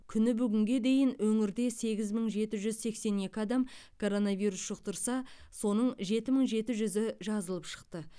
күні бүгінге дейін өңірде сегіз мың жеті жүз сексен екі адам коронавирус жұқтырса соның жеті мың жеті жүзі жазылып шықты